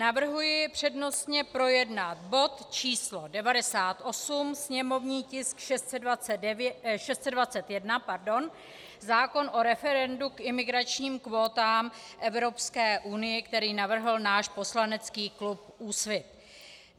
Navrhuji přednostně projednat bod číslo 98, sněmovní tisk 621, zákon o referendu k imigračním kvótám Evropské unie, který navrhl náš poslanecký klub Úsvit.